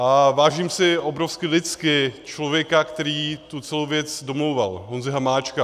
A vážím si obrovsky lidsky člověka, který celou tu věc domlouval, Honzy Hamáčka.